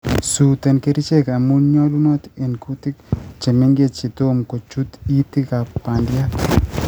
suuten kerichek amun nyolunot en kutik chemengech yetomo kochut itikab bandiat